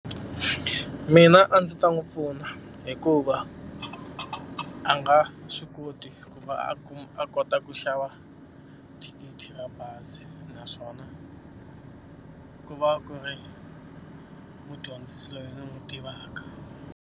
Mina a ndzi ta n'wi pfuna hikuva a nga swi koti ku va a kuma a kota ku xava thikithi ra bazi naswona ku va ku ri mudyondzisi loyi ni n'wi tivaka.